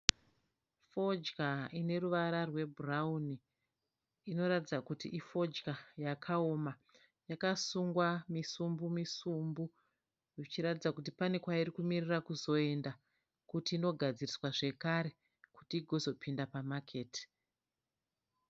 Fodya ineruvara rwebhurauni inoratidza kuti ifodya yakaoma, yakasungwa misumbu misumbu zvichiratidza kuti pane kwairikumirira kuzoenda kuti inogadziriswa zvekare kuti igonozopinda pamaketi.